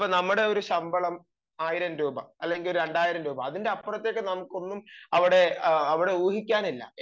ഇപ്പം നമ്മുടെ ഒരു ശമ്പളം ആയിരം രൂപ അല്ലെങ്കിൽ രണ്ടായിരം രൂപ അതിനപ്പുറത്തേക്ക് നമുക്ക് ഒന്നും അവിടെ ഊഹിക്കാനില്ല